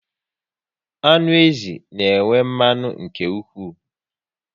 Anụ ezi na enwe mmanụ nke ụkwụ